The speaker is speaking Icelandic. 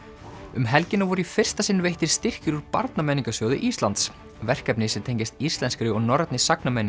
um helgina voru í fyrsta sinn veittir styrkir úr Íslands verkefni sem tengjast íslenskri og norrænni